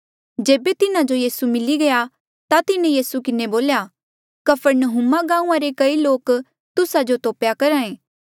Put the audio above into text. जेबे तिन्हा जो यीसू मिली गया ता तिन्हें यीसू किन्हें बोल्या कफरनहूमा गांऊँआं रे कई लोक तुस्सा जो तोपेया करहा ऐें